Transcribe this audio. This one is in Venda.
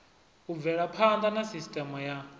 u bvelaphanḓa na sisteme ya